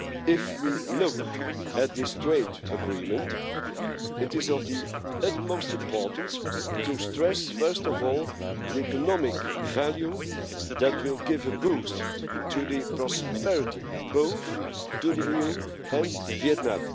If we look at this trade agreement, it is of the utmost importance to stress, first of all, the economic value that will give a boost to the prosperity of both the EU and Vietnam.